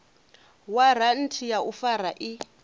waranthi ya u fara i